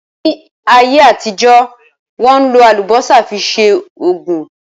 Ní ayé àtijọ́, Wọ́n ń lò Àlùbọ́sà fi ṣe Ògùn